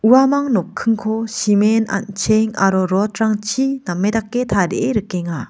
uamang nokkingko simen an·cheng aro rot rangchi name dake rikenga.